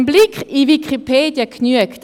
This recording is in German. Ein Blick in Wikipedia genügt.